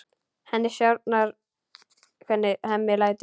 Henni sárnar hvernig Hemmi lætur.